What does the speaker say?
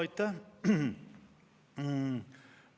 Aitäh!